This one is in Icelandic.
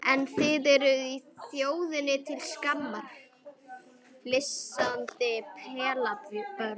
En þið þið eruð þjóðinni til skammar, flissandi pelabörn.